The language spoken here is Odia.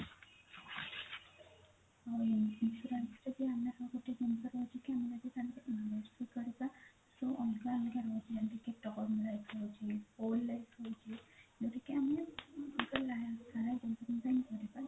insurance ରେ ଆମେ ଗୋଟେ ଜିନିଷ ତ ଅଲଗା ଅଲଗା ରହୁଛି old life ରହୁଛି ଯଉଟା କି ଆମେ